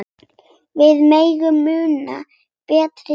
Við megum muna betri tíma.